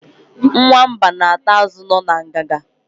Nwamba na-ata azụ nọ na ngiga.